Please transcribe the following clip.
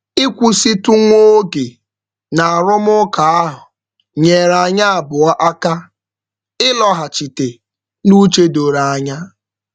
Ịkwụsitụ nwa oge n'arụmụka ahụ nyeere anyị abụọ aka ịlọghachite n'uche doro anya.